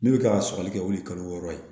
Ne bɛ ka sɔgɔli kɛ o ye kalo wɔɔrɔ ye